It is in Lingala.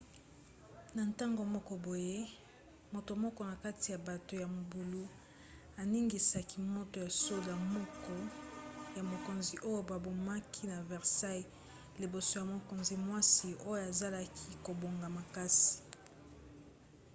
na ntango moko boye moto moko na kati ya bato ya mobulu aningisaki moto ya soda moko ya mokonzi oyo babomaki na versailles liboso ya mokonzi-mwasi oyo azalaki kobanga makasi